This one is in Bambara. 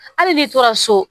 Hali n'i tora so